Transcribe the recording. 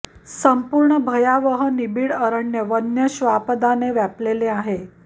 संपूर्ण भयावह निबीड अरण्य वन्य श्वापदाने व्यापलेलं आहे